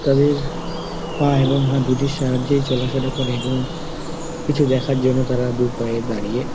তাদের পা এবং হাত দুটির সাহায্যে চলাফেরা করে এবং কিছু দেখার জন্য তারা দুপায়ে দাঁড়িয়ে --